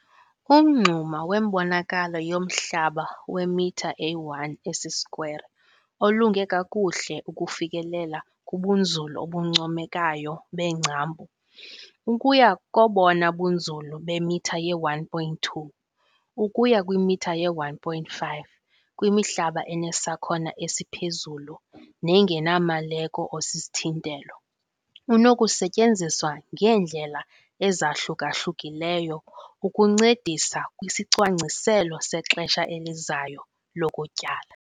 Umngxuma wembonakalo yomhlaba wemitha eyi-1 esisikwere olunge kakuhle ukufikelela kubunzulu obuncomekayo beengcambu, ukuya kobona bunzulu bemitha ye-1.2 ukuya kwimitha ye-1.5 kwimihlaba enesakhono esiphezulu nengenamaleko osisithintelo, unokusetyenziswa ngeendlela ezahluka-hlukileyo ukuncedisa kwisicwangciselo sexesha elizayo lokutyala.